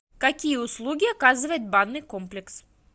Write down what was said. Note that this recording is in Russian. какие услуги оказывает банный комплекс